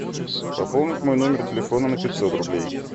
пополнить мой номер телефона на пятьсот рублей